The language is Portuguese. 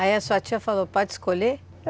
Aí a sua tia falou, pode escolher?